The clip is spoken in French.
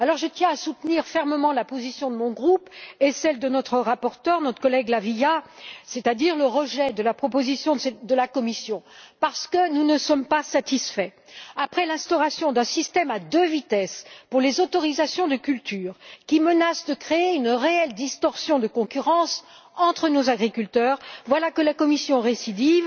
Je tiens à soutenir fermement la position de mon groupe et celle de notre rapporteur notre collègue La Via c'est à dire le rejet de la proposition de la Commission, parce que nous ne sommes pas satisfaits. Après l'instauration d'un système à deux vitesses pour les autorisations de culture qui menace de créer une réelle distorsion de concurrence entre nos agriculteurs, voilà que la Commission récidive